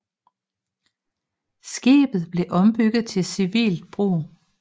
Skibet blev ombygget til civilt brug